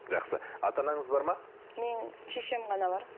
жақсы ата анаңыз бар ма менің шешем ғана бар